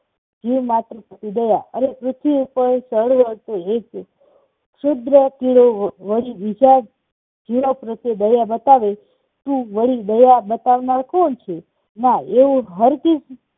જીવ માત્ર દયા અરે પૃથ્વી પર શરૂઆતથી એક વળી બીજા જીવો પ્રત્યે દયા બતાવે વળી દયા બતાવનાર કોણ છે? ના એવું હરગીઝ